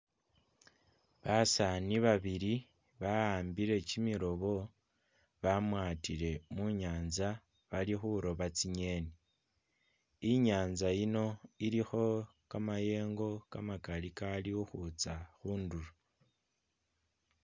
Basani babili ba'ambile kyimirobo bamwatile munyanza barikhuroba tsingeni inyanza ino ilikho kamayengo kamakali kalikhutsa khundulo